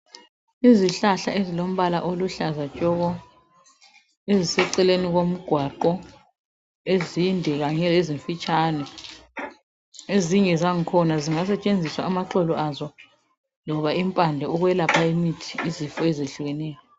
Izihlahla ezilombala oluhlaza tshoko eziceleni kwomgwaqho ezinde kanye lezimfitshane ezinye zankhona zingasetshenziswa amaxolo azo noma imphando ukwelapha imithi izifo eziyehlukeneyo